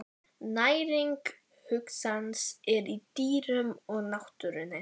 Næring hugans er í dýrunum og náttúrunni.